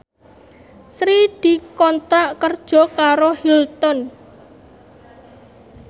Sri dikontrak kerja karo Hilton